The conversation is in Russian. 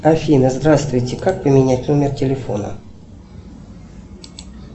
афина здравствуйте как поменять номер телефона